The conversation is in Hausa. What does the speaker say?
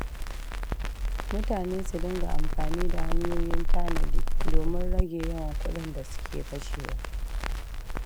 Mutane su dinga amfani da hanyoyin tanadi domin rage yawan kuɗin da suke kashewa.